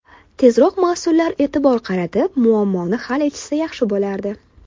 Tezroq mas’ullar e’tibor qaratib, muammoni hal etishsa yaxshi bo‘lardi.